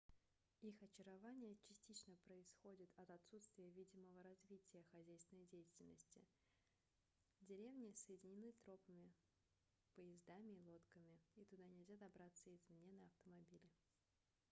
их очарование частично происходит от отсутствия видимого развития хозяйственной деятельности деревни соединены тропами поездами и лодками и туда нельзя добраться извне на автомобиле